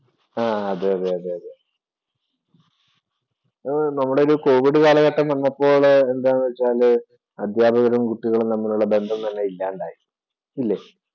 ആഹ് അതെ അതെ നമ്മുടെ ഒരു കോവിഡ് കാലഘട്ടം വന്നപ്പോള് എന്താന്ന് വച്ചാല്‍ അധ്യാപകരും, കുട്ടികളും തമ്മിലുള്ള ബന്ധം തന്നെ ഇല്ലാണ്ടായി. ഇല്ലേ?